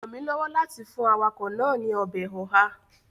rán mí lọwọ láti fún awakọ naa Ọbẹ̀ oha.